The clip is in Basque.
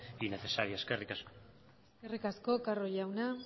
y necesaria eskerrik asko eskerrik asko carro jauna